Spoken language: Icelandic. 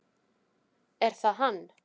Er það hann?